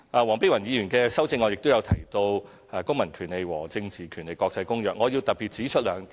黃碧雲議員的修正案亦提到《公民權利和政治權利國際公約》，我特別要指出兩點。